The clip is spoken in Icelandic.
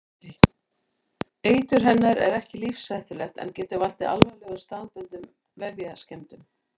Eitur hennar er ekki lífshættulegt en getur valdið alvarlegum staðbundnum vefjaskemmdum.